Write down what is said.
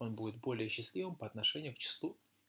он будет более счастливым по отношению к числу